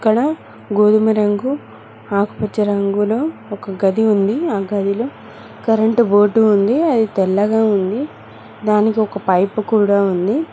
అక్కడ గోధుమ రంగు ఆకుపచ్చ రంగులో ఒక గది ఉంది ఆ గదిలో కరెంటు బోర్డు ఉంది అది తెల్లగా ఉంది దానికి ఒక పైపు కూడా ఉంది.